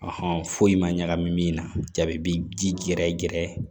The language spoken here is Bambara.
foyi ma ɲagami min na jaabi gɛrɛ gɛrɛ